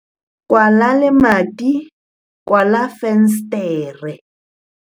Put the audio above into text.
kwala lemati, kwala fensetere